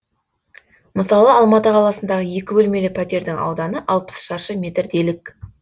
мысалы алматы қаласындағы екі бөлмелі пәтердің ауданы алпыс шаршы метр делік